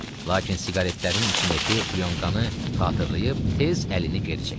Lakin siqaretlərin içindəki plyonkanı xatırlayıb, tez əlini geri çəkdi.